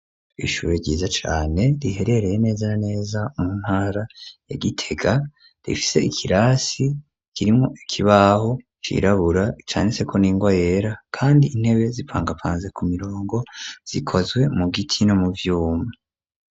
Ishure ryiza cane, riherereye neza na neza mu ntara ya Gitega, rifise ikirasi kirimwo ikibaho cirabura canditseko n'ingwa yera, kandi intebe zipangapanze ku mirongo, zikozwe mu giti no mu vyuma.